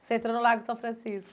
Você entrou no Largo de São Francisco?